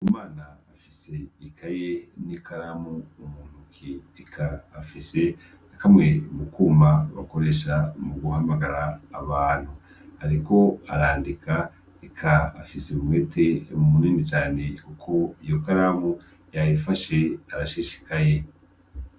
umwana afise ikaye ni karamu muntoki ,eka afise na kamwe mutwuma bikoresha mu guhamagara abantu ,ariko arandika, eka afise umwete munini cane kuko iyo karamu yayifashe arashishikaye.